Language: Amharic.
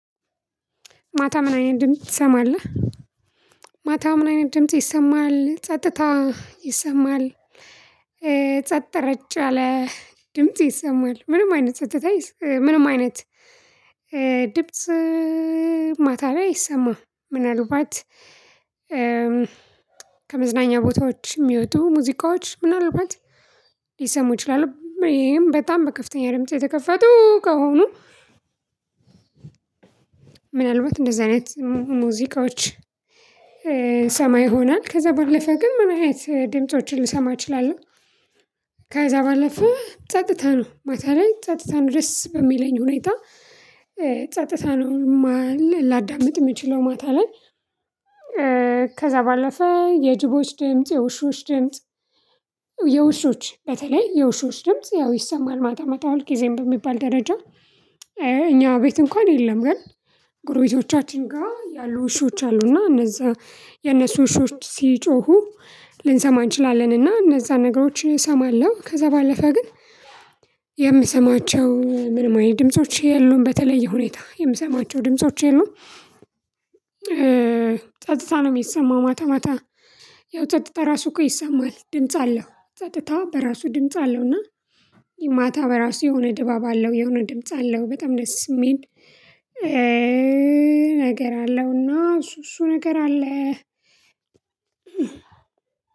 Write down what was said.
ማታ ምን አይነት ድምጽ ትሰማለህ? ማታ ምን አይነት ድምጽ ይሰማል ጸጥታ ይሰማል። ጸጥ ረጨ የአለ ድምጽ ይሰማል። ምንም አይነት ጸጥታ ምንም አይነት ድብጽ ማታ ላይ አይሰማም። ምናልባት ከመዝናኛ ቦታዎች የሚወጡ ሙዚቃዎች ምናልባት ሊሰሙ ይችላሉ ይሄም በጣም በከፍተኛ ድምጽ የተከፈቱ ከሆኑ። ምናልባት እንደዚህ አይነት ሙዚቃዎች ይሰማ ይሆናል። ከዛ በለፈ ግን ምን አይነት ድምፆችን ልሰማ እችላለሁ። ከዛ ባለፈ ጸጥታ ነው ማታ ላይ ጸጥታ ነው። ደስ በሚለኝ ሁኔታ ጸጥታ ነው ላዳምጥ የምችለው ማታ ላይ። ከዛ ባለፈ የጅቦች ድምጽ የውሾች ድምጽ። የውሾች በተለይ የውሾች ድምጽ ያው ይሰማል። ማታ ማታ ሁልግዜም በሚባል ደረጃ እኛ ቤት እንኳን የለም። ግን ጎርቤቶቻችን ጋር ያሉ ዉሾች አሉ እና እነዛ የነሱ ዉሾች ሲጮሁ ልንሰማ እንችላለን። እና እነዛ ነገሮችን እሰማለሁ ከዛ ባለፈ ግን። የምሰማቸው ምንም አይነት ድምጾች የሉም በተለየ ሁኔታ የምሰማቸው ድምጾች የሉም። ጸጥታ ነው የሚሰማው ማታ ማታ። ያው ጸጥታ ራሱ እኮ ይሰማል ድምጽ አለው ጸጥታ በራሱ ድምጽ አለው። እና ማታ በራሱ የሆነ ድባብ አለው የሆነ ድምጽ አለው በጣም ደስ የሚል። ነገር አለውና እሱ እሱ ነገር አለ።